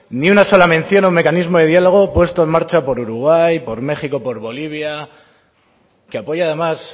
ni una sola mención a un mecanismo de diálogo puesto en marcha por uruguay por méxico por bolivia que apoya además